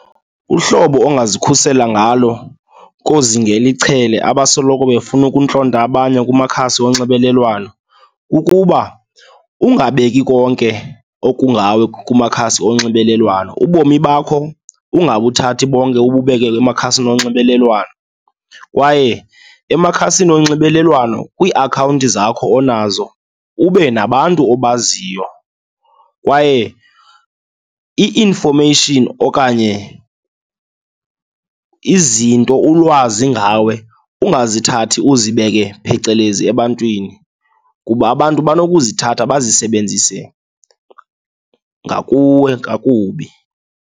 Uhlobo ongazikhusela ngalo koozingela ichele abasoloko befuna ukuntlonta abanye kumakhasi onxibelelwano, kukuba ungabeki konke okungawe kumakhasi onxibelelwano. Ubomi bakho ungabuthathi bonke ububeke emakhasini onxibelelwano kwaye emakhasini onxibelelwano kwiiakhawunti zakho onazo ube nabantu obaziyo. Kwaye i-information okanye izinto ulwazi ngawe ukungazithathi uzibeke phecelezi ebantwini kuba abantu banokuzithatha bazisebenzise ngakuwe kakubi.